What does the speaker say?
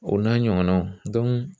O n'a ɲɔgɔnnaw